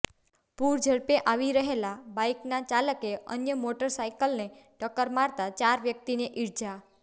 પૂરઝડપે આવી રહેલા બાઇકના ચાલકે અન્ય મોટર સાયકલને ટક્કર મારતાં ચાર વ્યકિતને ઇજા